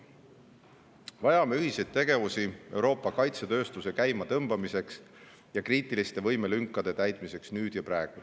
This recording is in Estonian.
Vajame ühiseid tegevusi Euroopa kaitsetööstuse käima tõmbamiseks ja kriitiliste võimelünkade täitmiseks nüüd ja praegu.